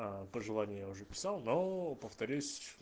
пожелание я уже писал но повторюсь